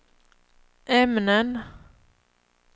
ämnen